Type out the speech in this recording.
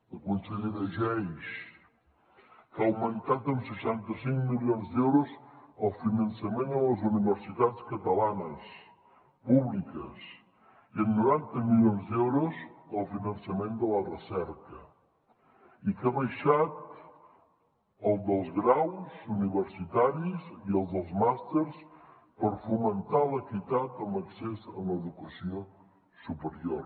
la consellera geis que ha augmentat en seixanta cinc milions d’euros el finançament a les universitats catalanes públiques i en noranta milions d’euros el finançament de la recerca i que ha abaixat el preu dels graus universitaris i el dels màsters per fomentar l’equitat en l’accés en l’educació superior